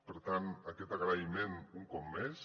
per tant aquest agraïment un cop més